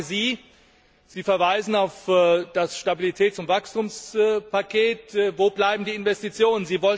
Und ich frage Sie Sie verweisen auf das Stabilitäts und Wachstumspaket wo bleiben die Investitionen?